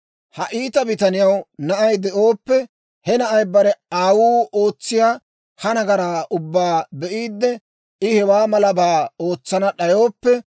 «Ha iita bitaniyaw na'ay de'ooppe he na'ay bare aawuu ootsiyaa ha nagaraa ubbaa be'iide, I hewaa malabaa ootsana d'ayooppe,